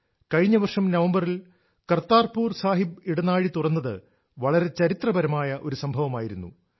കഴിഞ്ഞ വർഷം നവംബറിൽ കർതാർപൂർ സാഹിബ് ഇടനാഴി തുറന്നത് വളരെ ചരിത്രപരമായ ഒരു സംഭവമായിരുന്നു